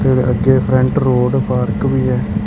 ਤੇ ਅੱਗੇ front road park ਵੀ ਹੈ।